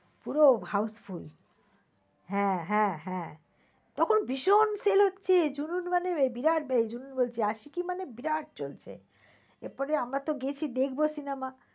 পুরো houseful হ্যাঁ হ্যাঁ হ্যাঁ তখন ভীষণ sell হচ্ছে জুনুন মানে বিরাট জুনুন বলছি আশিকি মানে বিরাট চলছে। এরপরে আমরা তো গেছি দেখব cinema